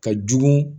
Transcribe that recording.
Ka jugu